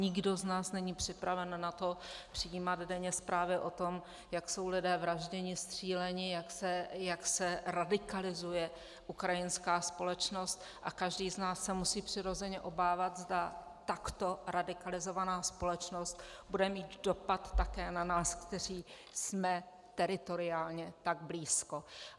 Nikdo z nás není připraven na to přijímat denně zprávy o tom, jak jsou lidé vražděni, stříleni, jak se radikalizuje ukrajinská společnost, a každý z nás se musí přirozeně obávat, zda takto radikalizovaná společnost bude mít dopad také na nás, kteří jsme teritoriálně tak blízko.